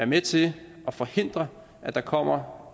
med til at forhindre at der kommer